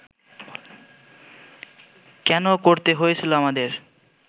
কেন করতে হয়েছিল আমাদের